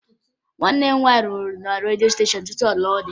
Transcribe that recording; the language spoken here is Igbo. Nwanne m nwaanyị rụrụ na redio steshọn tupu ọ lụọ di